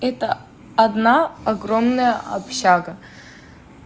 это одно огромное общага